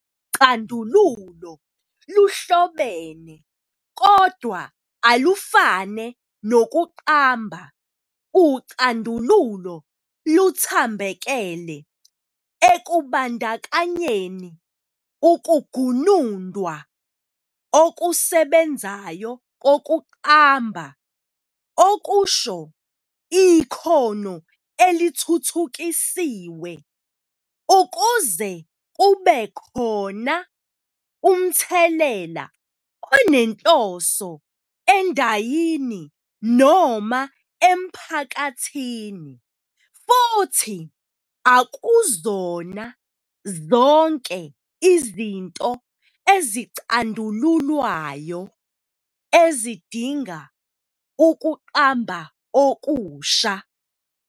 Ucandululo luhlobene, kodwa alufane nokuqamba ucandululo luthambekele ekubandakanyeni ukugunundwa okusebenzayo kokuqamba okusho ikhono elithuthukisiwe, ukuze kube khona umthelela onenhloso endayini noma emphakathini, futhi akuzona zonke izinto ezicandululwayo ezidinga ukuqamba okusha.